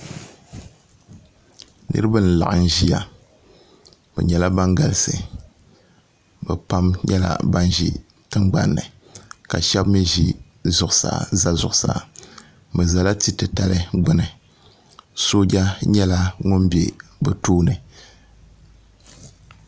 niraba n laɣam ʒiya bi nyɛla ban galisi bi pam nyɛla ban ʒi tingbanni ka shab mii ʒɛ zuɣusaa bi ʒɛla tia titali gbuni sooja nyɛla ŋun bɛ bi tooni